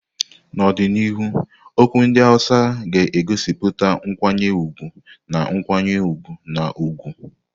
N'ọdịnihu, okwu ndị Hausa ga-egosipụta nkwanye ùgwù na nkwanye ùgwù na ugwu.